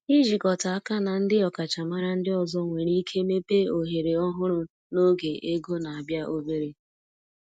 Ịjikọta aka na ndị ọkachamara ndị ọzọ nwere ike mepee ohere ọhụrụ n’oge ego na-abịa obere.